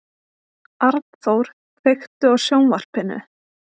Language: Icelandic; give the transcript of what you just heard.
Arnþór, kveiktu á sjónvarpinu.